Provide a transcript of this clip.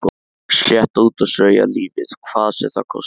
Slétta út og strauja lífið hvað sem það kostaði.